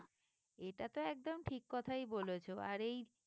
এটাতো একদম ঠিক কথাই বলেছো আর এই